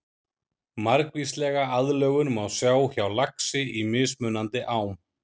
Margvíslega aðlögun má sjá hjá laxi í mismunandi ám.